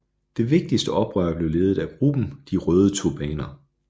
Det vigtigste oprør blev ledet af gruppen De røde turbaner